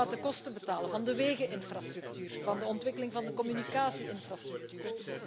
Wie gaat de kosten betalen van de wegeninfrastructuur, van de ontwikkeling van de communicatie infrastructuur?